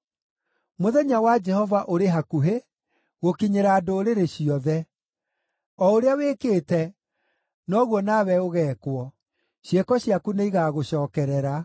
“Mũthenya wa Jehova ũrĩ hakuhĩ gũkinyĩra ndũrĩrĩ ciothe. O ũrĩa wĩkĩte, noguo nawe ũgeekwo; ciĩko ciaku nĩigagũcookerera.